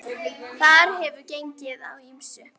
Þar hefur gengið á ýmsu.